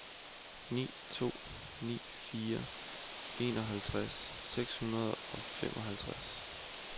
ni to ni fire enoghalvtreds seks hundrede og femoghalvfems